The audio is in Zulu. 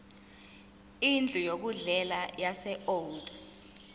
indlu yokudlela yaseold